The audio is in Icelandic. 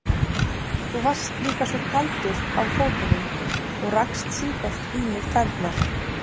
Þú varst líka svo kaldur á fótunum og rakst sífellt í mig tærnar.